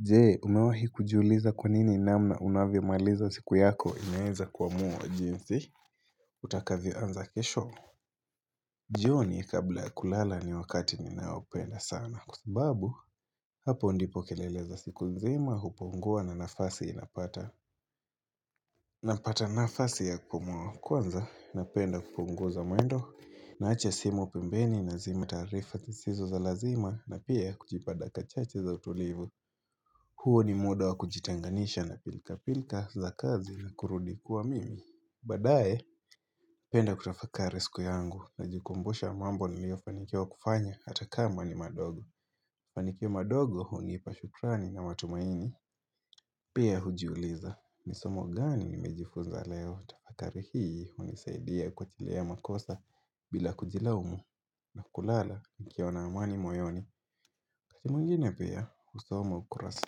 Je, umewahi kujuliza kwa nini namna unavyomaliza siku yako inaweza kuamua wa jinsi utakavyoanza kesho? Jioni kabla ya kulala ni wakati ninaoupenda sana kwa sababu hapo ndipo keleleza siku nzima hupungua na nafasi napata Napata nafasi ya kupumua. Kwanza, napenda kupunguza mwendo naacha simu pembeni nazima taarifa sisizo za lazima na pia kujipa dakika chache za utulivu. Huu ni muda wa kujitenganisha na pilka-pilka za kazi na kurudi kwa mimi. Baadaye, napenda kutafakari siku yangu na jikumbusha mambo niliofanikiwa kufanya ata kama ni madogo. Mafanikio madogo hunipa shukrani na matumaini. Pia hujiuliza, nisomo gani nimejifunza leo. Tafakari hii hunisaidia kuachila makosa bila kujilaumu na kulala nikiwa na amani moyoni. Wakati mwingine pia husoma ukurasa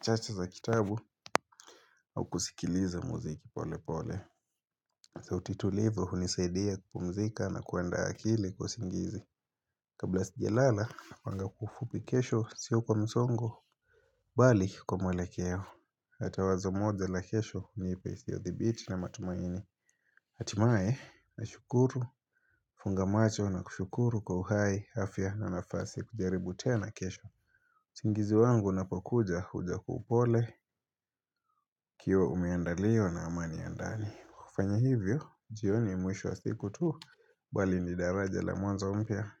chache za kitabu au kusikiliza muziki pole pole sauti tulivu hunisaidia kupumzika na kuandaa akili kwa usingizi Kabla sijalala napanga kwa ufupi kesho sio kwa msongo Bali kwa mwelekeo Ata wazo moja la kesho nipesi ya thibiti na matumaini Hatimaye nashukuru kufunga macho na kushukuru kwa uhai afya na nafasi ya kujaribu tena kesho usingizi wangu unapokuja huja upole ukiwa umeandaliwa na amani ya ndani. Kufanya hivyo, jioni si mwisho wa siku tu, bali ni daraja la mwanzo mpya.